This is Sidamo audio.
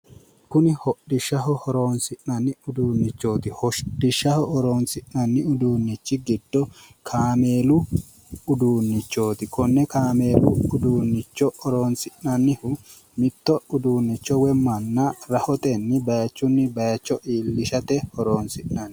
Kuni hodhishshaho horonsi'nanni udunnichooti hodhishshaho horonsi'nanni uduunnichi giddo kameelu uduunnichooti konne kameelu uduunnicho horonsi'nannihu mitto uduunnicho woyi manna rahotenni bayiichunni bayiicho iillishate horonsi'nanni